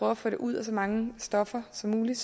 at få det ud af så mange stoffer som muligt